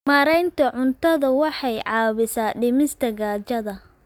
Maareynta cuntadu waxay caawisaa dhimista gaajada.